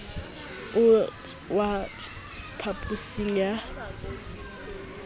o tl waetsa phaphusi ya